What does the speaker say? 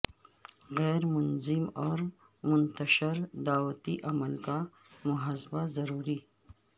غیر منظم اور منتشر دعوتی عمل کا محاسبہ ضروری